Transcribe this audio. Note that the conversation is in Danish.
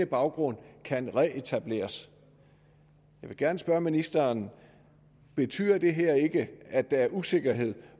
baggrund kan reetableres jeg vil gerne spørge ministeren betyder det her ikke at der er usikkerhed